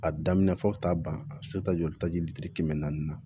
A daminɛ fɔ ka taa ban a bɛ se taa joli taji kɛmɛ naani na